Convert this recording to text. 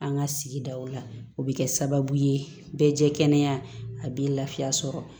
An ka sigidaw la o bɛ kɛ sababu ye bɛɛ jɛ kɛnɛya a b'i lafiya sɔrɔ